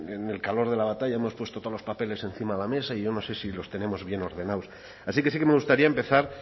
en el calor de la batalla hemos puesto todos los papeles encima de la mesa y yo no sé si los tenemos bien ordenados así que sí que me gustaría empezar